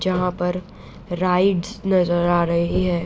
जहाँ पर राइड्स नजर आ रही हैं।